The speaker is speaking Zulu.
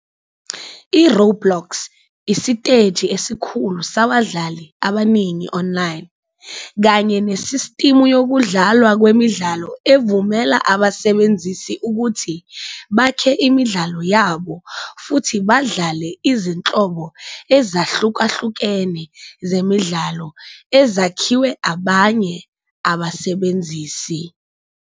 I-Roblox isiteji esikhulu sabadlali abaningi online kanye nesistimu yokudalwa kwemidlalo evumela abasebenzisi ukuthi bakhe imidlalo yabo futhi badlale izinhlobo ezahlukahlukene zemidlalo ezakhiwe abanye abasebenzisi.